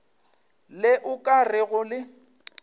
le o ka rego le